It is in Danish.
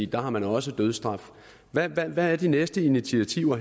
der har man også dødsstraf hvad hvad er de næste initiativer